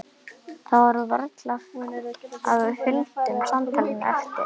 Það var varla að við fylgdum samtalinu eftir.